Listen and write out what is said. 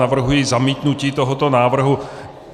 Navrhuji zamítnutí tohoto návrhu.